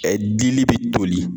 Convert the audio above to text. dili bi toli